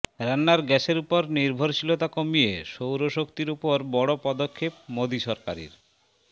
রান্নার গ্যাসের উপর নির্ভরশীলতা কমিয়ে সৌর শক্তির ওপর বড় পদক্ষেপ মোদী সরকারের